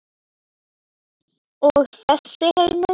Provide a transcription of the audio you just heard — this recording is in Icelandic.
Og þessi heimur?